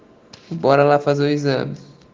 барлы позови за